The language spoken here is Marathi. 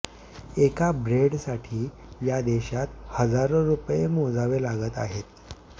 एका ब्रेडसाठी या देशात हजारो रुपये मोजावे लागत आहेत